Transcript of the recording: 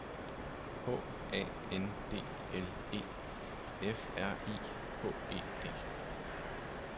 H A N D L E F R I H E D